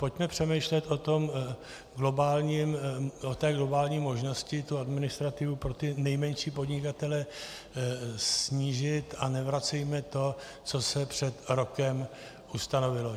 Pojďme přemýšlet o té globální možnosti tu administrativu pro ty nejmenší podnikatele snížit a nevracejme to, co se před rokem ustanovilo.